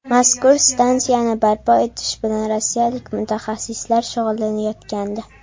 Mazkur stansiyani barpo etish bilan rossiyalik mutaxassislar shug‘ullanayotgandi.